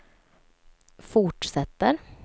fortsätter